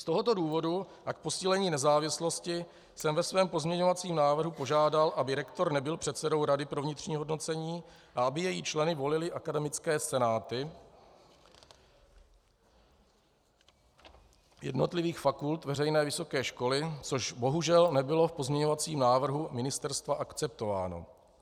Z tohoto důvodu a k posílení nezávislosti jsem ve svém pozměňovacím návrhu požádal, aby rektor nebyl předsedou rady pro vnitřní hodnocení a aby její členy volily akademické senáty jednotlivých fakult veřejné vysoké školy, což bohužel nebylo v pozměňovacím návrhu ministerstva akceptováno.